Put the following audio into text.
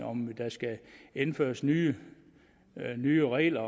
om der skal indføres nye nye regler